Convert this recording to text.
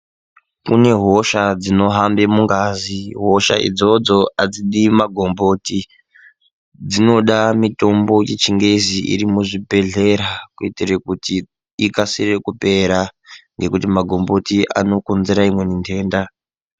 Kune hosha dzinohambe mungazi hosha idzodzo adzidi magomboti dzinoda mitombo yechingezi iri muzvibhedhlera kuitire kuti ikasire kupera nekuti magomboti anokonzera imweni ndenda.